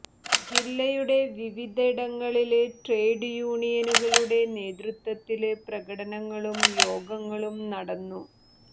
ജില്ലയുടെ വിവിധ ഇടങ്ങളില് ട്രേഡ് യൂനിയനുകളുടെ നേതൃത്വത്തില് പ്രകടനങ്ങളും യോഗങ്ങളും നടന്നു